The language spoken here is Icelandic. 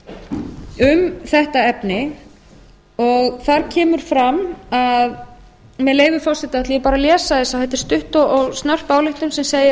um þetta efni með leyfi forseta ætla ég bara að lesa þetta þetta er stutt og snörp ályktun án segir